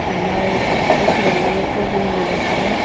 tina e kao chao e karing e ga taga.